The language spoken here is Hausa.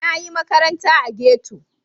Na yi makaranta a ghetto.